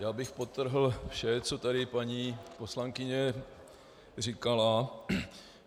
Já bych podtrhl vše, co tady paní poslankyně říkala.